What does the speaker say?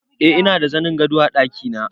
Eh ina da zanin gado a ɗakina